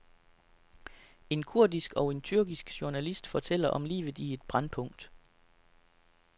En kurdisk og en tyrkisk journalist fortæller om livet i et brændpunkt.